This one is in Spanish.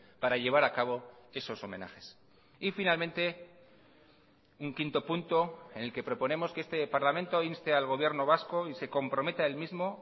para llevar a cabo esos homenajes y finalmente un quinto punto en el que proponemos que este parlamento inste al gobierno vasco y se comprometa él mismo